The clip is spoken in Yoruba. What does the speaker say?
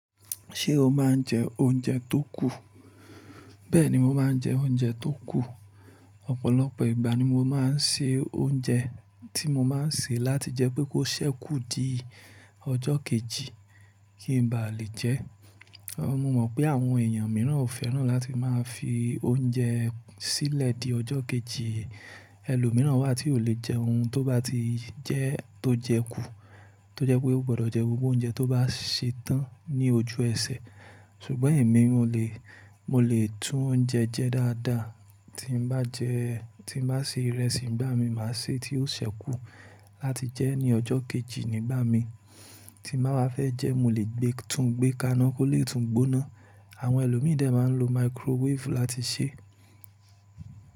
Ṣé o máa ń jẹ oúnjẹ tó kù? Bẹ́ẹ̀ni, mo máa ń jẹ oúnjẹ tó kù. Ọ̀pọ̀lọpọ̀ ìgbà ni mo máa ń se oúnjẹ tí mo máa ń ṣe láti jẹ́ pé kó ṣẹ́kù di ọjọ́ kejì kí n ba lè jẹ ẹ́. Mo mọ̀ pé àwọn èèyàn míràn ò fẹ́ràn láti máa fi oúnjẹ sílẹ̀ di ọjọ́ kejì. Ẹlòmíràn wà tí ò lè jẹ ohun tó bá ti jẹ́ tó jẹ kú, tó jẹ́ pé ó gbọdọ̀ jẹ gbogbo oúnjẹ tó bá ṣe tán ní ojú ẹsẹ̀. Ṣùgbọ́n èmi o lè, mo lè tún oúnjẹ jẹ dáadáa tí n bá jẹ, tí n bá se ìrẹsì, ìgbà mi màá sè tí ó ṣẹ́kù láti jẹ́ ní ọjọ́ kejì nígbà mi tí màá ba fẹ́ jẹ ẹ́. Mo lè gbé, tún gbé kàn án kó lè tún gbóná. Àwọn ẹlòmí dè máa ń lo microwave láti sè é.